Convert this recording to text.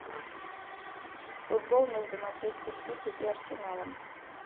футбол между манчестер сити и арсеналом